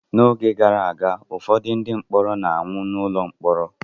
N'oge gara aga, ụfọdụ ndị mkpọrọ na-anwụ n’ụlọ mkpọrọ